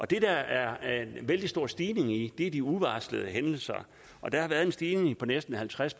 det der er en vældig stor stigning i er de uvarslede hændelser og der har været en stigning på næsten halvtreds